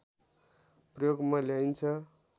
प्रयोगमा ल्याइन्छ